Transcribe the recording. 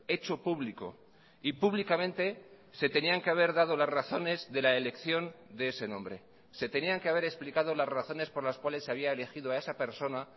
hecho público y públicamente se tenían que haber dado las razones de la elección de ese nombre se tenían que haber explicado las razones por las cuales se había elegido a esa persona